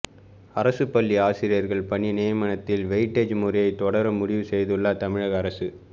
அரசுப்பள்ளி ஆசிரியர்கள் பணி நியமனத்தில் வெயிட்டேஜ் முறையை தொடர முடிவு செய்துள்ளது தமிழக அரசு